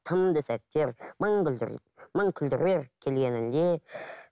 тынды сәттер мың мың күлдірер келгеніңде